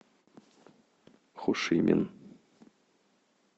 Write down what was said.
хошимин